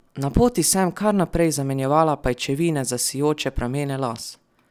Na poti sem kar naprej zamenjevala pajčevine za sijoče pramene las.